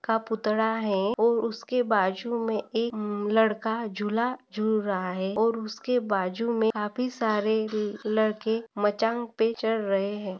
का पुतळा है और उसके बाजु मे एक म लड़का झुला झुल रहा है और उसके बाजुमे काफी सारे ल-लड़के मचांग पे चड़ रहे है।